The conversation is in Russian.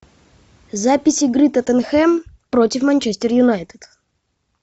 запись игры тоттенхэм против манчестер юнайтед